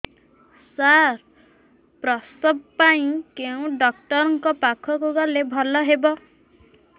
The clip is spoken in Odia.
ସାର ପ୍ରସବ ପାଇଁ କେଉଁ ଡକ୍ଟର ଙ୍କ ପାଖକୁ ଗଲେ ଭଲ ହେବ